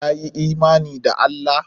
Ka yi imani da Allah?